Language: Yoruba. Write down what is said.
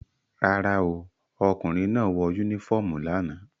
Rárá o, ọkùnrin náà kò wọ unifọmú lánàá.